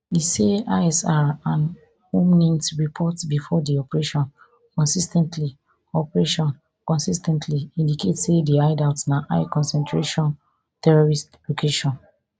e say isr and humint reports bifor di operation consis ten tly operation consis ten tly indicate say di hideout na highconcentration terrorist location